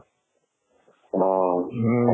অ,